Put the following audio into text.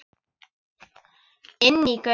Inní göng.